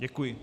Děkuji.